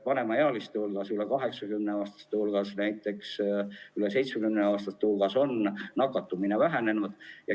Vanemaealiste, üle 80‑aastaste ja ka üle 70‑aastaste hulgas on nakatumine vähenenud.